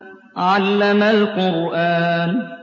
عَلَّمَ الْقُرْآنَ